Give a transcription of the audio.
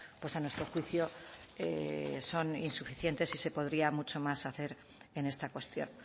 pues a nuestro juicio son insuficientes y se podría mucho más hacer en esta cuestión